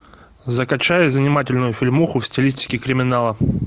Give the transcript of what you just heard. закачай занимательную фильмуху в стилистике криминала